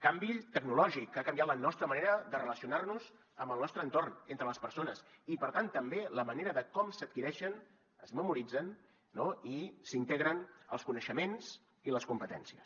canvi tecnològic que ha canviat la nostra manera de relacionar nos amb el nostre entorn entre les persones i per tant també la manera com s’adquireixen es memoritzen no i s’integren els coneixements i les competències